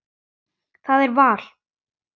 Það er val.